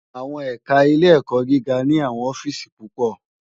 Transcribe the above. Awòn ẹká Ilé Èkò gigá ni áwòn òfìsí púpò